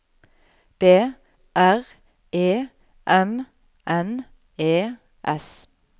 B R E M N E S